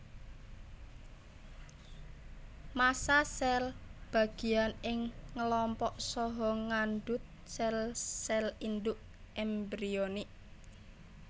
Massa sel bagian ing ngelompok saha ngandut sel sel induk embrionik